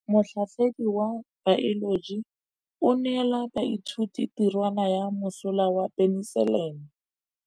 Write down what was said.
Motlhatlhaledi wa baeloji o neela baithuti tirwana ya mosola wa peniselene.